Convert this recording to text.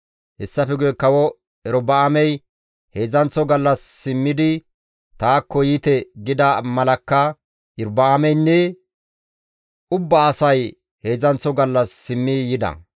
Hessafe guye Kawo Erobi7aamey, «Heedzdzanththo gallas simmidi taakko yiite» gida malakka, Iyorba7aameynne ubba asay heedzdzanththo gallas simmi yida.